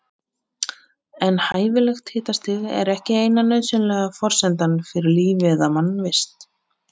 En hæfilegt hitastig er ekki eina nauðsynlega forsendan fyrir lífi eða mannvist.